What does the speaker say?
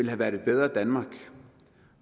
have været et bedre danmark